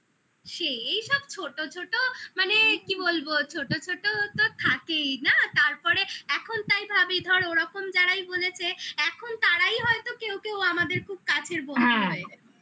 সেই সব ছোটো ছোটো মানে কি বলবো ছোটো ছোটো ও তো থাকেই না তারপরে এখন তাই ভাবি ধরো ওরকম যারাই বলেছে এখন তারাই হয়তো কেউ কেউ আমাদের খুব কাছের বন্ধু হয়ে গেছে